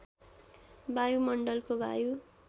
वायुमण्डलको वायु